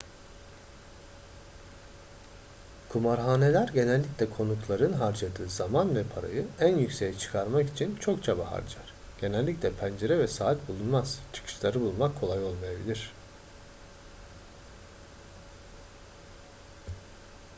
kumarhaneler genellikle konukların harcadığı zaman ve parayı en yükseğe çıkarmak için çok çaba harcar genellikle pencere ve saat bulunmaz çıkışları bulmak kolay olmayabilir